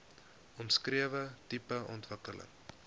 omskrewe tipe ontwikkeling